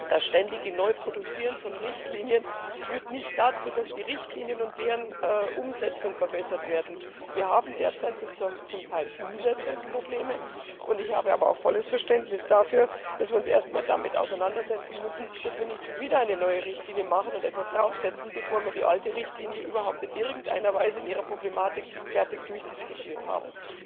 Das ständige Neuproduzieren von Richtlinien führt nicht dazu, dass die Richtlinien und deren Umsetzung verbessert werden. Wir haben derzeit zum Teil Umsetzungsprobleme. Ich habe aber auch volles Verständnis dafür, dass wir uns erst einmal damit auseinandersetzen müssen, dass wir nicht schon wieder eine neue Richtlinie machen und etwas draufsetzen, bevor wir die alte Richtlinie überhaupt in irgendeiner Weise in ihrer Problematik fertig durchdiskutiert haben.